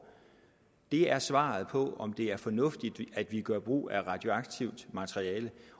det er svaret på om det er fornuftigt at vi gør brug af radioaktivt materiale